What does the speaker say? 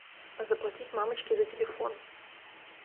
заплатить мамочке за телефон